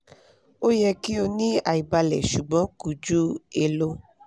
o yẹ ki o ni aibalẹ ṣugbọn ko ju elo